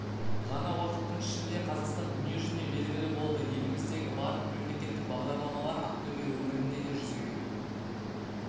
ғана уақыттың ішінде қазақстан дүниежүзіне белгілі болды еліміздегі барлық мемлекеттік бағдарламалар ақтөбе өңірінде де жүзеге